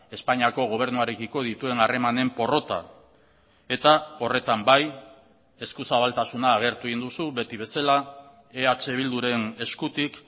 espainiako gobernuarekiko dituen harremanen porrota eta horretan bai eskuzabaltasuna agertu egin duzu beti bezala eh bilduren eskutik